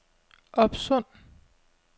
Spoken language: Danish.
Opsund